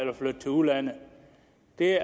det